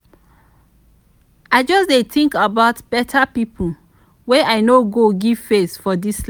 i just dey tink about beta pipo wey i no give face for dis li.